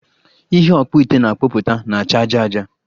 Ihe ọkpụite na-akpụpụta na-acha aja aja